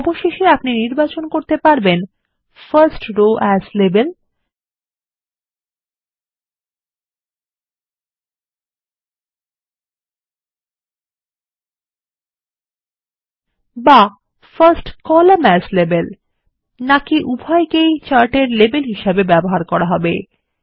অবশেষে আপনি নির্বাচন করতে পারবেন ফার্স্ট রো এএস লাবেল বা ফার্স্ট কলাম্ন এএস লাবেল বা উভয়কেই চার্ট অক্ষ এর লেবেল হিসাবে ব্যবহার করা হবে